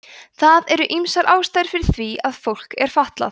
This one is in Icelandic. það eru ýmsar ástæður fyrir því að fólk er fatlað